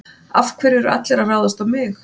Af hverju eru allir að ráðast á mig?